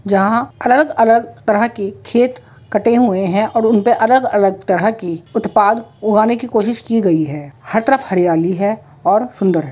जहाँ अलग अलग तरह की खेत कटे हुए हैं और उनपे अलग अलग तरह की उत्पाद उगाने की कोशिश गई है हर तरफ हरयाली है और सूंदर है।